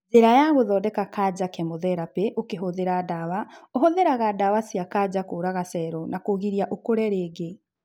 Njĩra ya gũthodeka kanja kemotherapĩ ũkihuthĩra ndawa ,ũhũthĩraga dawa cia kanjakũraga cero na kũgiria ũkũre rĩngĩ